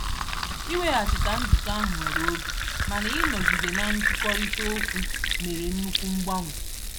Iweghachite njikọ ahụ were oge, mana ịnọgide na nkwurịtaokwu mere nnukwu mgbanwe.